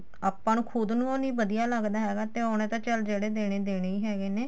ਆਪਾਂ ਨੂੰ ਖੁਦ ਨੂੰ ਨੀ ਵਧੀਆ ਲੱਗਦਾ ਹੈਗਾ ਤੇ ਉਹਨੇ ਤਾਂ ਚੱਲ ਜਿਹੜੇ ਦੇਣੇ ਦੇਣੇ ਈ ਹੈਗੇ ਨੇ